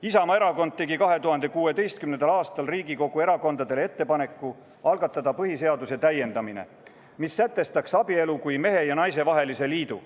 Isamaa Erakond tegi 2016. aastal Riigikogu erakondadele ettepaneku algatada põhiseaduse täiendamine, mis sätestaks abielu kui mehe ja naise vahelise liidu.